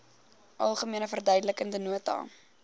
algemene verduidelikende nota